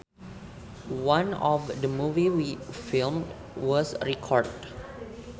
None of the movie we filmed was recorded